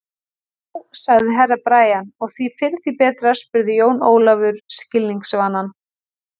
Já, sagði Herra Brian, og því fyrr því betra spurði Jón Ólafur skilningsvana.